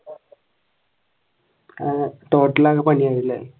ആഹ് total അങ്ങനെ പണിയായല്ലേ?